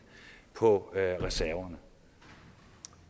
på reserven